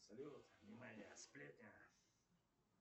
салют внимание сплетня